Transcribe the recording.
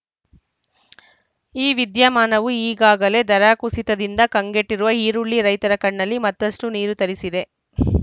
ಈ ವಿದ್ಯಮಾನವು ಈಗಾಗಲೇ ದರ ಕುಸಿತದಿಂದ ಕಂಗೆಟ್ಟಿರುವ ಈರುಳ್ಳಿ ರೈತರ ಕಣ್ಣಲ್ಲಿ ಮತ್ತಷ್ಟು ನೀರು ತರಿಸಿದೆ